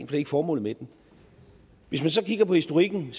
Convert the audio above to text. det er ikke formålet med den hvis man så kigger på historikken